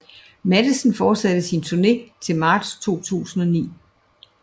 Matthesen fortsatte sin turné til marts 2009